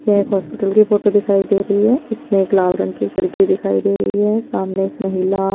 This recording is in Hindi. ये एक हॉस्पिटल की फोटो दिखाई दे रही है इसमें एक लाल रंग की खेडकी दिखाई दे रही है सामने एक महिला --